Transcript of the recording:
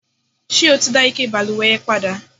ṣé o ti dá ike ìbalùwẹ̀ yẹn padà?